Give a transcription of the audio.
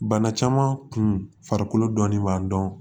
Bana caman kun farikolo dɔnnen b'a dɔn